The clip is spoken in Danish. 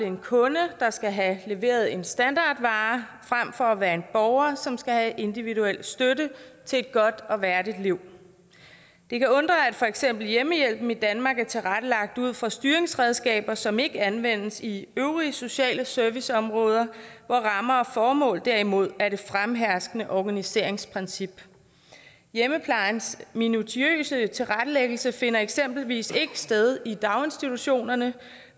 en kunde der skal have leveret en standardvare frem for at være en borger som skal have individuel støtte til et godt og værdigt liv det kan undre at for eksempel hjemmehjælpen i danmark er tilrettelagt ud fra styringsredskaber som ikke anvendes i øvrige sociale serviceområder hvor rammer og formål derimod er det fremherskende organiseringsprincip hjemmeplejens minutiøse tilrettelæggelse finder eksempelvis ikke sted i daginstitutionerne